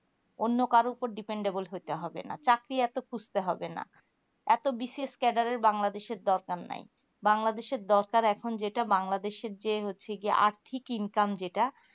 অন্য কারো ওপর depend হতে হবে না চাকরি এত খুঁজতে হবে না এত বিশেষ ক্যাডারের bangladesh র দরকার নাই bangladesh দরকার এখন যেটা bangladesh র যে হচ্ছে আর্থিক income যেটা